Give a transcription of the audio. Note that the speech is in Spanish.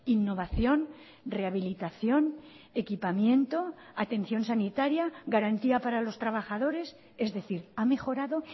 innovación rehabilitación equipamiento atención sanitaria garantía para los trabajadores es decir ha mejorado